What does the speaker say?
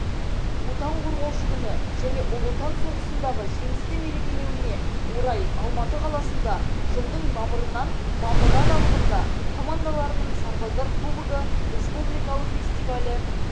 отан қорғаушы күні және ұлы отан соғысындағы жеңісті мерекелеуіне орай алматы қаласында жылдың мамырынан мамыры аралығында командаларының сарбаздар кубогы республикалық фестивалі